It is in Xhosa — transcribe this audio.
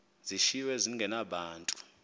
zishiywe zinge nabani